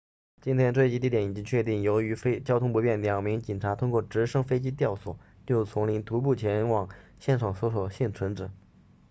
今天坠机地点已经确定由于交通不便两名警察通过直升飞机吊索进入丛林徒步前往现场搜救幸存者